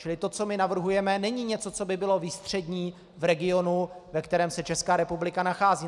Čili to, co my navrhujeme, není něco, co by bylo výstřední v regionu, ve kterém se Česká republika nachází.